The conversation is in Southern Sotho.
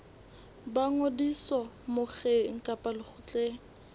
ba ngodiso mokgeng kapa lekgotleng